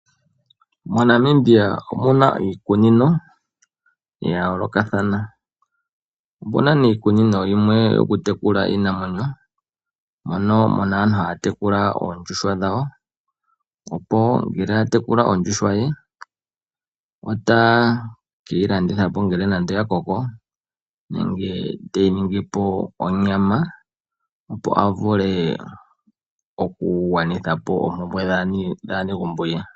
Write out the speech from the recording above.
MoNamibia omuna iikunino ya yoolokathana, omuna woo iikunino yimwe yo ku tekula iinamwenyo, mono muna aantu ha ya tekula oondjuhwa dhawo, opo ngele atejula ondjuhwa ye, ote ke yi landithapo uuna ngele ya koko nenge te yi ningipo onyama, opo avule oku gwanithapo oompumwe dhaanegumbo lye.